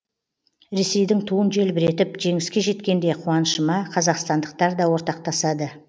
ресейдің туын желбіретіп жеңіске жеткенде қуанышыма қазақстандықтар да ортақтасады